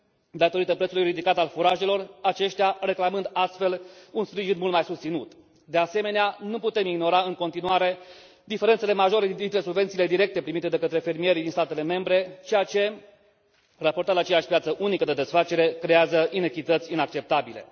datorită prețului ridicat al furajelor, aceștia reclamând astfel un sprijin mult mai susținut. De asemenea, nu putem ignora în continuare diferențele majore dintre subvențiile directe primite de către fermierii din statele membre, ceea ce, raportat la aceeași piață unică de desfacere, creează inechități inacceptabile.